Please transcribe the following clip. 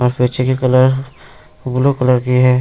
यहाँ पीछे की कलर ब्लू कलर की है।